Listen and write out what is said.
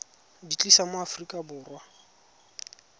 di tlisa mo aforika borwa